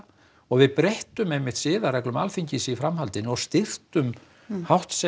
og við breyttum einmitt siðareglum Alþingis í framhaldinu og styrktum